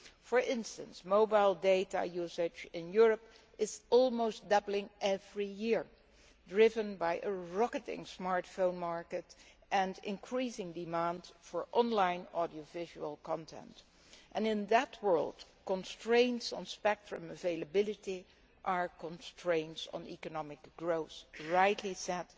For instance, mobile data usage in Europe is almost doubling every year driven by a rocketing smartphone market and increasing demand for online audiovisual content. In that world, constraints on spectrum availability are constraints on economic growth, as has rightly been said,